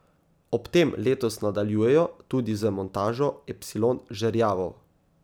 Ob tem letos nadaljujejo tudi z montažo epsilon žerjavov.